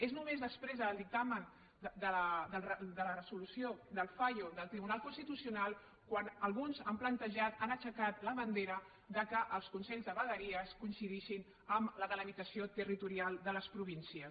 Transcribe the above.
és només després del dictamen de la resolució del fallo del tribunal constitucional quan alguns han plantejat han aixecat la bandera que els consells de vegueries coincidissin amb la delimitació territorial de les províncies